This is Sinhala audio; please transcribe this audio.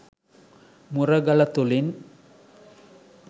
මුරගල තුළින්